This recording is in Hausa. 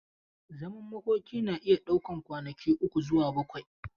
Zaman makoki na iya daukan kwanaki uku zuwa bakwai.